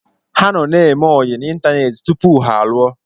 Ha nọ na-eme oyi n'Ịntaneti tupu ha alụọ.